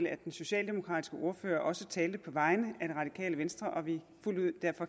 at den socialdemokratiske ordfører også talte på vegne af det radikale venstre vi